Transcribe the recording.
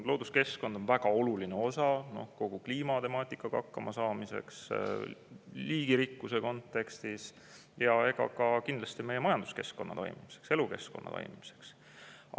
Looduskeskkond on väga oluline osa kogu kliimatemaatikaga hakkamasaamiseks, liigirikkuse kontekstis ja kindlasti ka meie majanduskeskkonna toimimiseks, elukeskkonna toimimiseks.